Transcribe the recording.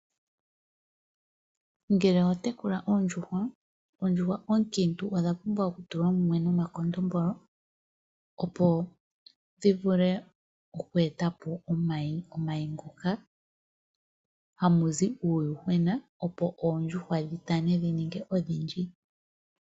Ngele oho tekula oondjuhwa, oondjuhwa oonkiitu odha pumbwa okutulwa mumwe nomakondombolo, opo dhi vule oku eta po omayi. Omayi ngoka hamu zi uuyuhwena opo oondjuhwa dhi tane dhi ninge ondhindji.